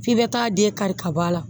F'i bɛ taa den kari ka bɔ a la